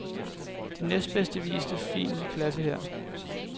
De næstbedste viste fin klasse her.